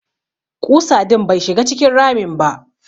Ƙusa din bai shiga cikin ramin ba.